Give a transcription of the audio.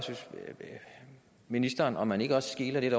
ministeren om man ikke også skeler lidt